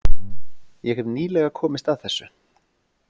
Ég hef nýlega komist að þessu.